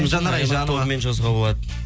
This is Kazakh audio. жанар айжановамен жазуға болады